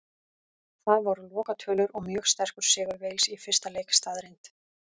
Það voru lokatölur og mjög sterkur sigur Wales í fyrsta leik staðreynd.